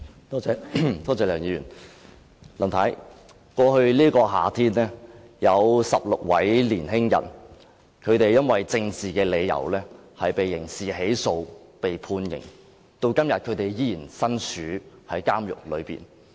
梁議員，林太，剛過去的夏天有16位年輕人，因為政治理由而被刑事起訴及判刑，至今他們仍然身處監獄中。